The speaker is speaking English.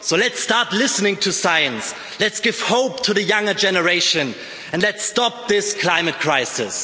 So let's start listening to science, let's give hope to the younger generation, and let's stop this climate crisis.